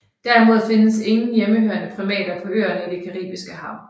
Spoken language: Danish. Derimod findes ingen hjemmehørende primater på øerne i det Caribiske hav